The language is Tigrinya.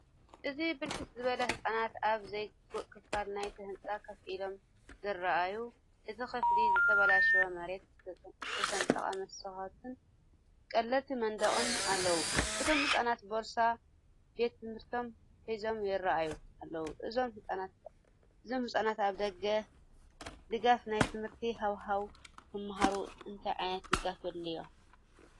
እዚ ብርክት ዝበሉ ህጻናት ኣብ ዘይግቡእ ክፋል ናይቲ ህንጻ ኮፍ ኢሎም ዘርኢእዩ። እቲ ክፍሊ ዝተበላሸወ መሬት፡ዝተሰነጠቐ መስኮትን ቀለልቲ መንደቕን ኣለዎ። እቶምህጻናት ቦርሳ ቤት ትምህርቶም ሒዞም ይራኣዩ ኣለው። እዞም ህጻናትኣብ ደጋፊ ናይ ትምህርቲ ሃዋህው ክመሃሩ እንታይ ዓይነት ደገፍ የድልዮም?